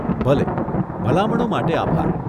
ભલે, ભલામણો માટે આભાર.